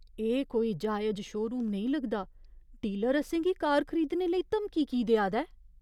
एह् कोई जायज शोरूम नेईं लगदा । डीलर असें गी कार खरीदने लेई धमकी की देआ दा ऐ?